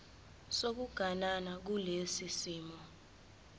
sokuganana kulesi simo